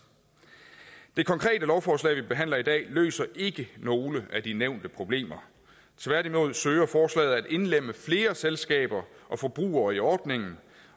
det konkrete lovforslag vi behandler i dag løser ikke nogen af de nævnte problemer tværtimod søger forslaget at indlemme flere selskaber og forbrugere i ordningen